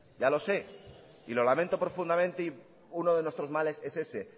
ya lo sé y lo lamento profundamente y uno de nuestros males es ese